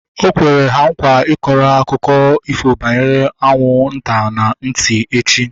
Okwere ha nkwa ịkọrọ ha akụkọ ifo banyere anwụ nta na ntị echi